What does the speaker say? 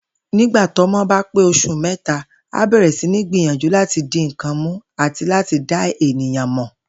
Nígbà tọ́mo̩ bá pé os̩ù mé̩ta, a bè̩rè̩ sí ní gbìyànjú láti di nǹkan mú àti láti dá èèyàn mò̩